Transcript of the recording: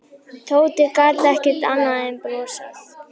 Tóti gat ekki annað en brosað.